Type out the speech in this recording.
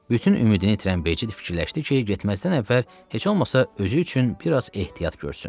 Bütün ümidini itirən Becid fikirləşdi ki, getməzdən əvvəl heç olmasa özü üçün bir az ehtiyat görsün.